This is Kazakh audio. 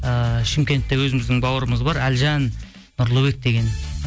ііі шымкентте өзіміздің бауырымыз бар әлжан нұрлыбек деген